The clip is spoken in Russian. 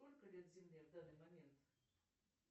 сколько лет земле в данный момент